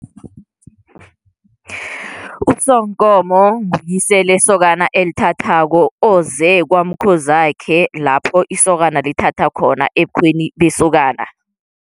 USonkomo nguyise lesokana elithathako oze kwamkhozi wakhe lapho isokana lithatha khona ebukhweni besokana.